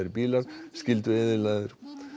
bílar skyldu eyðilagðir